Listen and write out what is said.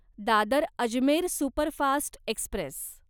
Dadar Ajmer superfast Express